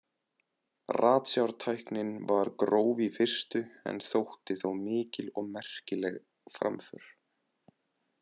Ratsjártæknin var gróf í fyrstu en þótti þó mikil og merkileg framför.